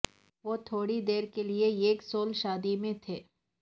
وہ تھوڑی دیر کے لئے ایک سول شادی میں تھے